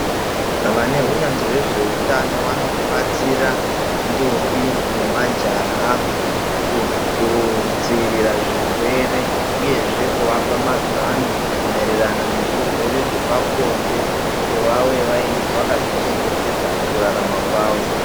Vaneunyanzvi wezveutano vanobatsira ndombi nemajaha kudziirira zvirwere uyezve kuvapa mazano maererano nezvirwere zvepabonde kuti vave vakazvichengetedza mukurarama kwavo